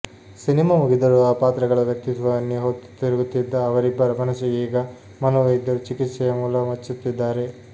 cinema ಮುಗಿದರೂ ಆ ಪಾತ್ರಗಳ ವ್ಯಕ್ತಿತ್ವವನ್ನೇ ಹೊತ್ತು ತಿರುಗುತ್ತಿದ್ದ ಅವರಿಬ್ಬರ ಮನಸಿಗೆ ಈಗ ಮನೋವೈದ್ಯರು ಚಿಕಿತ್ಸೆಯ ಮುಲಾಮು ಹಚ್ಚುತ್ತಿದ್ದಾರೆ